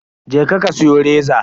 Je ka ka siyo reza.